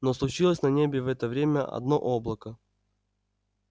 но случилось на небе в это время одно облако